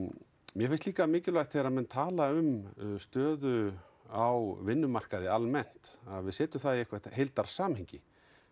mér finnst líka mikilvægt að þegar menn tala um stöðu á vinnumarkaði almennt að við setjum það í heildarsamhengi